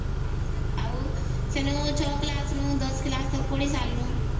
ଆଉ ସ୍ୱେନୁ ଛ class ରୁ ଦଶ class ତକ ପଢ଼ିସାରିଲୁ